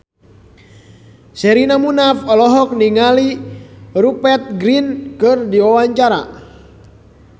Sherina Munaf olohok ningali Rupert Grin keur diwawancara